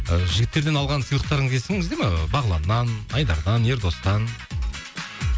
ы жігіттерден алған сыйлықтарыңыз есіңізде ме ы бағланнан айдардан ердостан